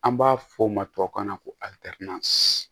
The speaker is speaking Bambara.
An b'a fɔ o ma tubabukan na ko